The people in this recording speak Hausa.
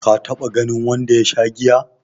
ka taba ganin wanda ya Sha giya?